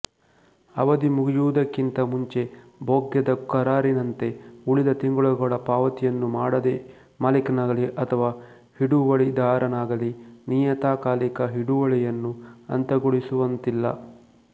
ಅವಧಿ ಮುಗಿಯುವುದಕ್ಕಿಂತ ಮುಂಚೆ ಭೋಗ್ಯದ ಕರಾರಿನಂತೆ ಉಳಿದ ತಿಂಗಳುಗಳ ಪಾವತಿಯನ್ನು ಮಾಡದೇ ಮಾಲಿಕನಾಗಲೀ ಅಥವಾ ಹಿಡುವಳಿದಾರನಾಗಲೀ ನಿಯತಕಾಲಿಕ ಹಿಡುವಳಿಯನ್ನು ಅಂತ್ಯಗೊಳಿಸುವಂತಿಲ್ಲ